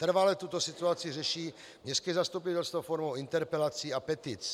Trvale tuto situaci řeší městské zastupitelstvo formou interpelací a petic.